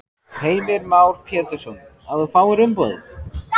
Heimir Már Pétursson: Að þú fáir umboðið?